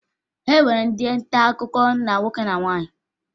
E nwere ndị ntaakụkọ ndị nwoke na ndị nwaanyị